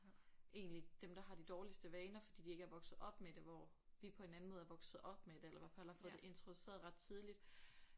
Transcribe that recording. Egentlig dem der har de dårligste vaner fordi de ikke er vokset op med det hvor vi på en anden måde er vokset op med det eller hvert fald har fået det introduceret ret tidligt